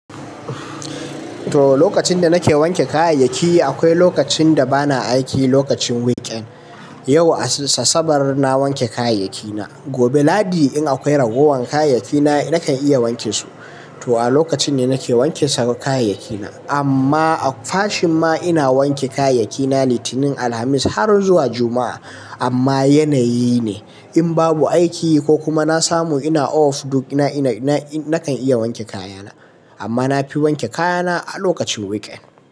To, lokacin da nake wanke kayayyaki akwai lokacin da bana aiki lokacin weekend. Yau Asabar na wanke kayayyakina, gobe Lahadi in akwai ragowar kayayyakina nakan iya wanke su. To a lokacin ne nake wanke kayayyakina. Amma a fashin ma ina wanke kayayyaki na Litinin, Alhamis har zuwa Juma'a. Amma yanayi ne, in babu aiki ko kuma na samu ina off duk na, ina, na nakan iya wanke kayana. Amma na fi wanke kayana a lokacin weekend.